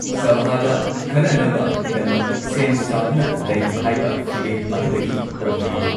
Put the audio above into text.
ꯁꯚꯥꯗ ꯈꯟꯅꯅꯕꯒꯤꯗꯃꯛ ꯁꯦꯝ ꯁꯥꯗꯨꯅ ꯂꯩ ꯍꯥꯏꯕ ꯐꯤꯔꯦꯞ ꯑꯗꯨꯗꯒꯤ ꯍꯣꯡꯗ꯭ꯔꯤ ꯫